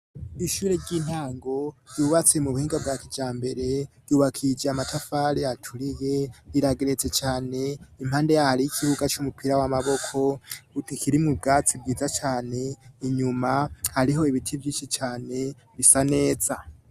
ishure ry'intango ryubatse mu buhinga bwa kijambere ryubakishije amatafari yaturiye rirageretse cane impande yariho ikibuga c'umupira w'amaboko butikirimu bwatsi bwiza cane inyuma hariho ibiti vyishi cane bisa neza